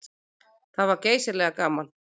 Það var geysilega gaman.